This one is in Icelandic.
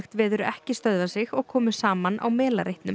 veður ekki stöðva sig og komu saman á